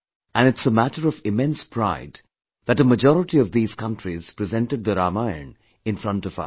And it's a matter of immense pride that a majority of these countries presented the Ramayan in front of us